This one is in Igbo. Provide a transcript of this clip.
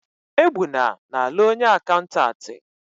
Egbuna na-alụ onye akaụntantị.